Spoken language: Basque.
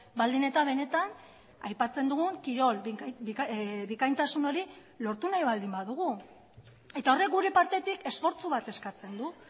baldin eta benetan aipatzen dugun kirol bikaintasun hori lortu nahi baldin badugu eta horrek gure partetik esfortzu bat eskatzen du